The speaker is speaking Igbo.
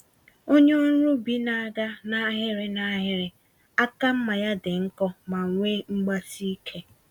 Onye ọrụ ubi na-aga n'ahịrị n'ahịrị, àkà mmá ya dị nkọ ma nwee mgbasike